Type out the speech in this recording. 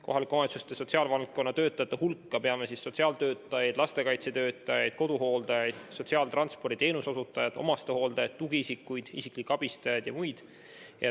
Kohalike omavalitsuste sotsiaalvaldkonna töötajate hulka loeme sotsiaaltöötajad, lastekaitsetöötajad, koduhooldajad, sotsiaaltransporditeenuse osutajad, omastehooldajad, tugiisikud, isiklikud abistajad ja mõned teised.